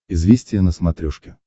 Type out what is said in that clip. известия на смотрешке